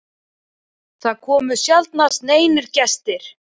Það komu sjaldnast neinir gestir.